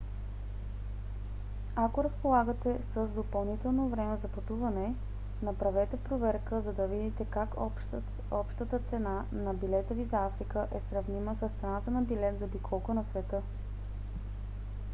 ако разполагате с допълнително време за пътуване направете проверка за да видите как общата цена на билета ви за африка е сравнима с цена на билет за обиколка на света